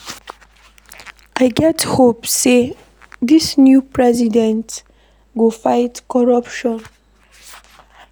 I get hope sey dis new president go fight corruption.